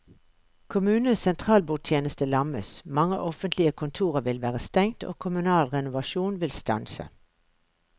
Kommunenes sentralbordtjeneste lammes, mange offentlige kontorer vil være stengt og kommunal renovasjon vil stanse.